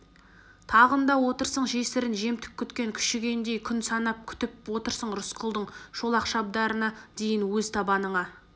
тағында отырсың жесірін жемтік күткен күшігендей күн санап күтіп отырсың рысқұлдың шолақ шабдарына дейін өз табыныңа